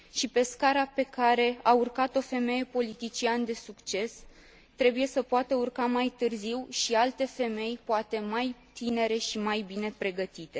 Pe scara pe care a urcat o femeie politician de succes trebuie să poată urca mai târziu și alte femei, poate mai tinere și mai bine pregătite.